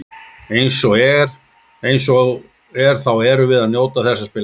Eins og er þá erum við að njóta þess að spila fótbolta.